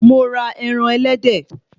Mo ra ẹran ẹlẹ́dẹ̀